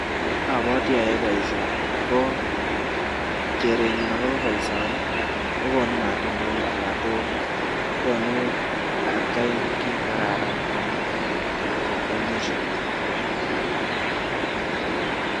Abwati ayoe boisioni ako kerenyun akobo boisioni kokonu matundek anan konu atkei kiit ne kararan eng mwisho.